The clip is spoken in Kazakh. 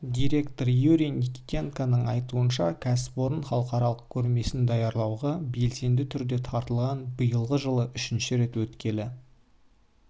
директоры юрий никитенконың айтуынша кәсіпорын халықаралық көрмесін даярлауға белсенді түрде тартылған биылғы жылы үшінші рет өткелі